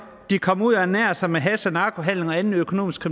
og de kommer ud og ernærer sig med hash og narkohandel og anden økonomisk